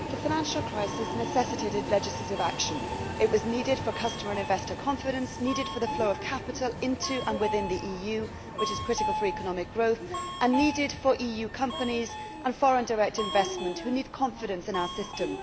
Madam President, the financial crisis necessitated legislative action. It was needed for customer and investor confidence, needed for the flow of capital into and within the EU which is critical for economic growth and needed for EU companies and foreign direct investment, which need confidence in our system.